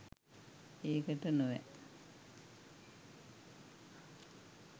ඒකට නොවැ